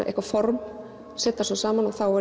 eitthvað form set það svo saman og þá